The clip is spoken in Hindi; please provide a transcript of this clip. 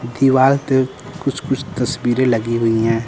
दीवाल पे कुछ कुछ तस्वीरें लगी हुई हैं।